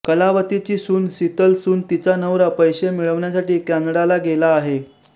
कलावतीची सून शीतल सून तिचा नवरा पैसे मिळवण्यासाठी कॅनडाला गेला आहे